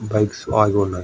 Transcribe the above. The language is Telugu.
బైక్స్ ఆగి ఉన్నాయి.